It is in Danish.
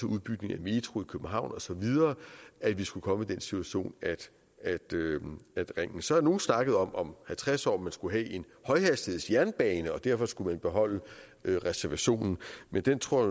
udbygning af metroen i københavn og så videre skulle komme i den situation så har nogle snakket om om halvtreds år skulle have en højhastighedsjernbane og derfor skulle beholde reservationen men den tror